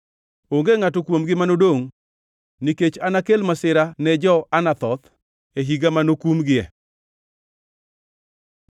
Onge ngʼato kuomgi manodongʼ, nikech anakel masira ne jo-Anathoth e higa manokumgie.’ ”